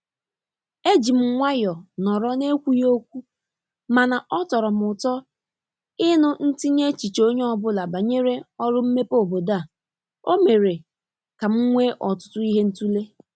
E jị m nwayo nọrọ n'ekwughị okwu mana ọ tọrọ m ụtọ ịnụ ntinye echiche onye ọbụla banyere oru mmepe obodo a. O mere ka m nwee ọtụtụ ihe ịtụle."